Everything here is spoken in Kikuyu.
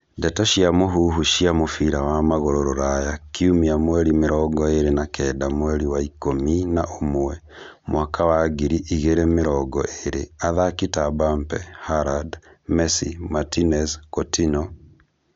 Ndeto cia mũhuhu cia mũbira wa magũrũ Rũraya kiumia mweri mĩrongo ĩrĩ na Kenda mweri wa ikũmi na ũmwe mwaka wa ngiri igĩrĩ mĩrongo ĩrĩ athaki ta Mbappe, Haaland, Messi , Martinez, Coutinho